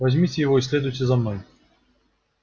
возьмите его и следуйте за мной